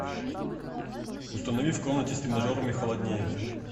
установи в комнате с тренажерами холоднее